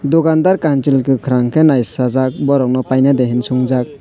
dokandar kansaloi kokarang kei nai sajak borok nw paine de hinui chungjak.